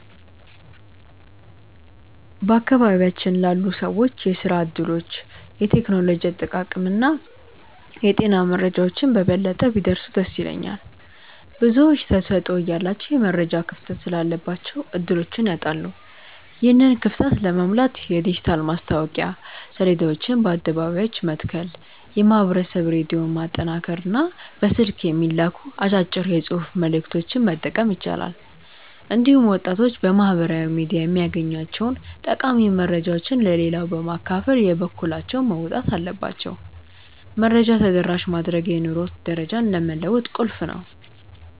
በአካባቢያችን ላሉ ሰዎች የሥራ ዕድሎች፣ የቴክኖሎጂ አጠቃቀምና የጤና መረጃዎች በበለጠ ቢደርሱ ደስ ይለኛል። ብዙዎች ተሰጥኦ እያላቸው የመረጃ ክፍተት ስላለባቸው ዕድሎችን ያጣሉ። ይህንን ክፍተት ለመሙላት የዲጂታል ማስታወቂያ ሰሌዳዎችን በአደባባዮች መትከል፣ የማኅበረሰብ ሬዲዮን ማጠናከርና በስልክ የሚላኩ አጫጭር የጽሑፍ መልዕክቶችን መጠቀም ይቻላል። እንዲሁም ወጣቶች በማኅበራዊ ሚዲያ የሚያገኟቸውን ጠቃሚ መረጃዎች ለሌላው በማካፈል የበኩላቸውን መወጣት አለባቸው። መረጃን ተደራሽ ማድረግ የኑሮ ደረጃን ለመለወጥ ቁልፍ ነው።